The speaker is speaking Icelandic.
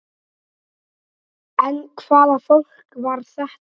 En hvaða fólk var þetta?